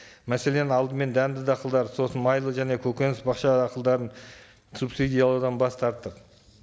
мәселен алдымен дәнді дақылдарды сосын майлы және көгөніс бақша дақылдарын субсидиялаудан бас тарттық